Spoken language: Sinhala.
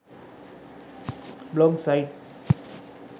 blog sites